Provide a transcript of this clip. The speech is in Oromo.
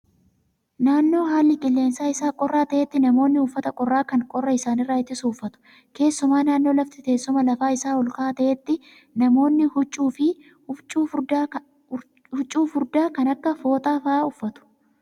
Naannoo haalli qilleensa isaa qorraa ta'etti namoonni uffata qorraa kan qorra isaanirraa ittisu uffatu. Keessumaa naannoo lafti teessuma lafa isaa ol ka'aa ta'etti namoonni huccuu furdaa kan akka fooxaa fa'aa uffatu.